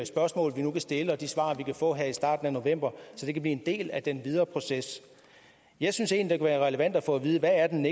spørgsmål vi nu vil stille og de svar vi kan få her i starten af november så det kan blive en del af den videre proces jeg synes egentlig det kunne være relevant at få at vide hvad den